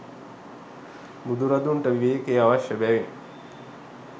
බුදුරදුන්ට විවේකය අවශ්‍ය බැවින්